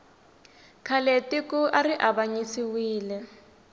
khale tiko ari avanyisiwile